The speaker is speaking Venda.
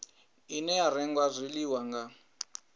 ine ya renga zwiḽiwa nga